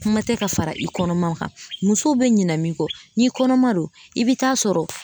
Kuma tɛ ka fara i kɔnɔman kan musow bɛ ɲina min kɔ n'i kɔnɔma do i bɛ taa sɔrɔ